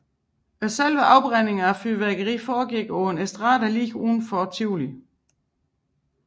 Selve afbrændingen af fyrværkeriet foregik på en estrade lige uden for Tivoli